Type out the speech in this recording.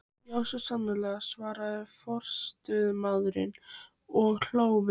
Já, svo sannarlega, svaraði forstöðumaðurinn og hló við.